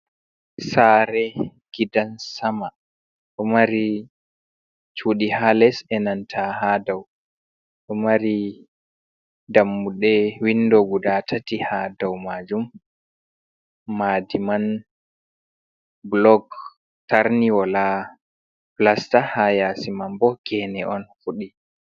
Sare gidan sama, ɗomari cuɗi ha les e'nanta ha dau, ɗomari dammuɗe windo guda tati ha dau majum, maadiman bulok tarni wola fulasta ha yasi man bo gene on fuɗi